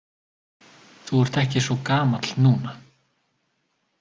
Þú ert ekki svo gamall núna.